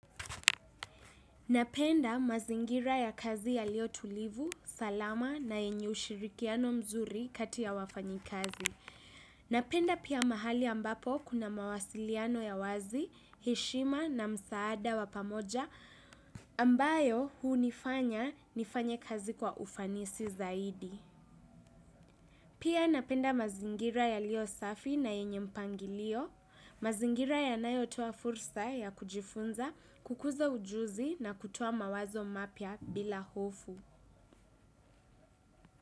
Napenda mazingira ya kazi yaliyo tulivu, salama na yenye ushirikiano mzuri kati ya wafanyikazi. Napenda pia mahali ambapo kuna mawasiliano ya wazi, heshima na msaada wa pamoja ambayo hunifanya nifanye kazi kwa ufanisi zaidi. Pia napenda mazingira yaliyo safi na yenye mpangilio, mazingira yanayotoa fursa ya kujifunza kukuza ujuzi na kutoa mawazo mapya bila hofu.